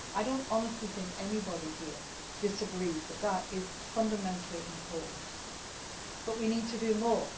I do not honestly think anybody here disagrees that this is fundamentally important but we need to do more.